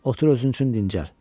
Otur özün üçün dincəl.